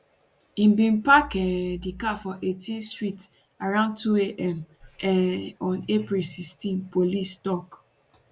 im bin park um di car for 18th street around around 2 am um on april 16 police tok